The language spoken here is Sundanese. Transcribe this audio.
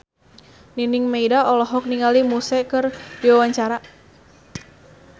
Nining Meida olohok ningali Muse keur diwawancara